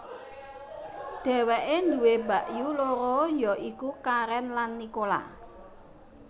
Dheweke duwé mbakyu loro ya iku Karen lan Nicola